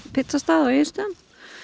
pizzastað á Egilsstöðum